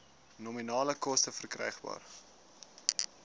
nominale koste verkrygbaar